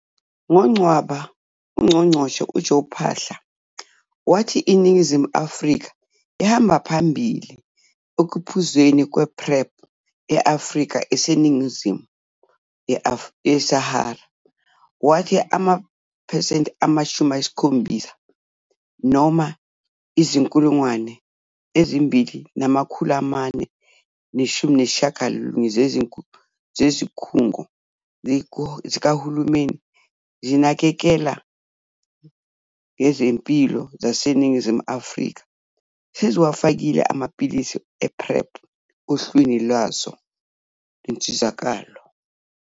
NgoNcwaba, uNgqongqoshe u-Joe Phaahla wathi iNingizimu Afrika ihamba phambili ekuphuzweni kwePrEP e-Afrika eseningizimu ye-Sahara. Wathi amaphesenti ama-70, noma izi-2 419 zezikhungo zikahulumeni ezinakekela ngezempilo zaseNingizimu Afrika seziwafakile amaphilisi e-PrEP ohlwini lazo lezinsizakalo.